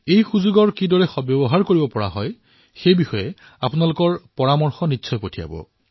এই অনুষ্ঠানক কিদৰে উপযোগী কৰি তোলা হব সেই বিষয়ে আপোনালোকে নিশ্চয়কৈ পৰামৰ্শ আগবঢ়াব